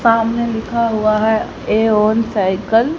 सामने लिखा हुआ है ए वन साइकल ।